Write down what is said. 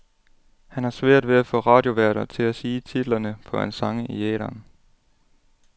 Han har svært ved at få radioværter til at sige titlerne på hans sange i æteren.